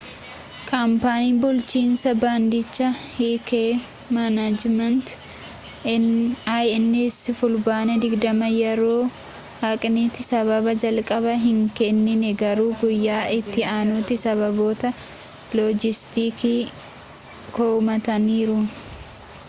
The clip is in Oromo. kaampaaniin bulchiinsa baandichaa hk management inc fulbaana 20 yeroo haqanitti sababa jalqabaa hin keennine garuu guyyaa ittii aanutti sababoota loojistiikii komataniiru